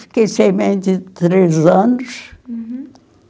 Fiquei sem mãe tinha três anos. Uhum.